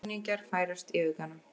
Sjóræningjar færast í aukana